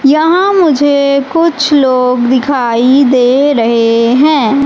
यहां मुझे कुछ लोग दिखाई दे रहे हैं।